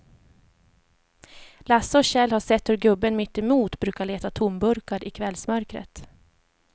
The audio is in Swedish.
Lasse och Kjell har sett hur gubben mittemot brukar leta tomburkar i kvällsmörkret.